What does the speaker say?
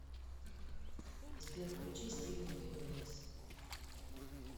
сбер включи стивен юниверс